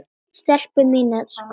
STELPUR MÍNAR, KOMIÐI!